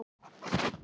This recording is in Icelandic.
Allt í þínum anda.